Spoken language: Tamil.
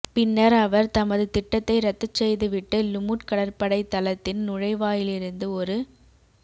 பின்னர் அவர் தமது திட்டத்தை ரத்துச் செய்து விட்டு லுமுட் கடற்படைத் தளத்தின் நுழைவாயிலிருந்து ஒரு